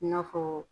I n'a fɔ